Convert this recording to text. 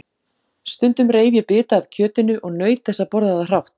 Stundum reif ég bita af kjötinu og naut þess að borða það hrátt.